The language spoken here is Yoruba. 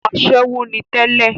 asẹ́wó ni tẹ́lẹ̀